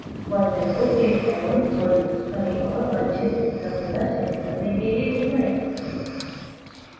pointer को click एवं hold करें और वांछित रंग का चयन करने के लिए घुमाएँ